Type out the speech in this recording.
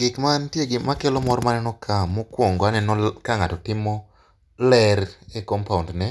Gik mantie makelo kor maneno ka mokwongo aneno ka ng'ato timo ler e compound ne,